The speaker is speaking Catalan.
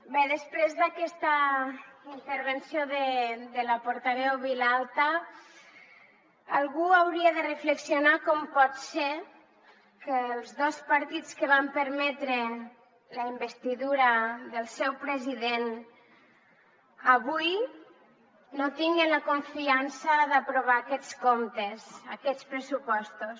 bé després d’aquesta intervenció de la portaveu vilalta algú hauria de reflexionar sobre com pot ser que els dos partits que van permetre la investidura del seu president avui no tinguin la confiança d’aprovar aquests comptes aquests pressupostos